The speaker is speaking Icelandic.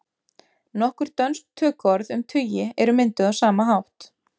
Nokkur dönsk töluorð um tugi eru mynduð á sama hátt.